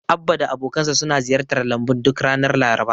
Abba da abokansa suna ziyartar lambun duk ranar Laraba.